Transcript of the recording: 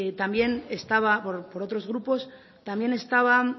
también estaba por otros grupos también estaba